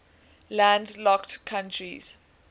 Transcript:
landlocked countries